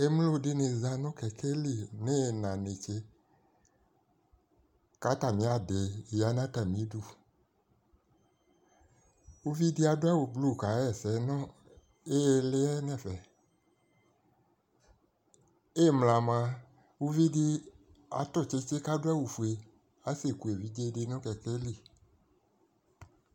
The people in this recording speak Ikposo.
Emlo di ni za ni kɛlɛ lɩ n'ɩna netse, k'atami adi ya n'atami 'du Uʋɩ di adu awu blu ka ɣɛ sɛ nu ɩlɩ'ɛ n'ɛfɛ Ɩmla mua, uʋi di atu tsɩtsɩ k'asu awu fue Ase ku eʋidze di nu kɛkɛ lɩ